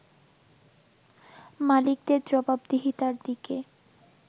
মালিকদের জবাবদিহিতার দিকে